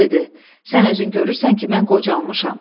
Ənisə dedi: "Sən özün görürsən ki, mən qocalmışam.